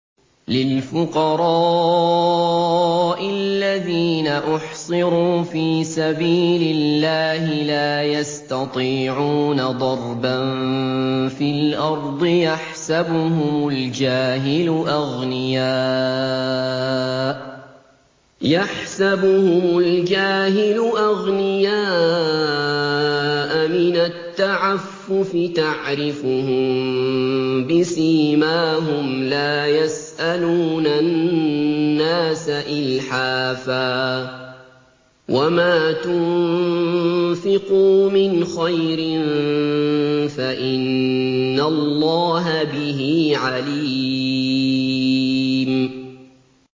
لِلْفُقَرَاءِ الَّذِينَ أُحْصِرُوا فِي سَبِيلِ اللَّهِ لَا يَسْتَطِيعُونَ ضَرْبًا فِي الْأَرْضِ يَحْسَبُهُمُ الْجَاهِلُ أَغْنِيَاءَ مِنَ التَّعَفُّفِ تَعْرِفُهُم بِسِيمَاهُمْ لَا يَسْأَلُونَ النَّاسَ إِلْحَافًا ۗ وَمَا تُنفِقُوا مِنْ خَيْرٍ فَإِنَّ اللَّهَ بِهِ عَلِيمٌ